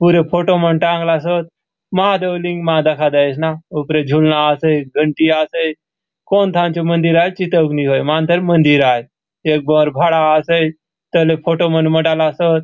पूरे फोटो मन टाँगलासोत महादेव लिंग मा दखा देयसे ना उपरे झूलना आसे घंटी आसे कोन थान चो मंदिर आय चिताउक नी होय मान्तर मंदिर आय एक भोवर भाड़ा आसे तले फोटो मन मंडालासोत।